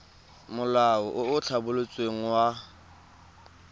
molao o o tlhabolotsweng wa